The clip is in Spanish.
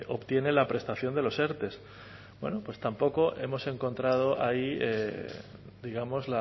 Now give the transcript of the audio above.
obtienen la prestación de los erte bueno pues tampoco hemos encontrado ahí digamos